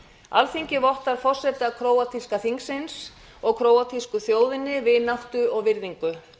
alþingi vottar forseta króatíska þingsins og króatísku þjóðinni vináttu og virðingu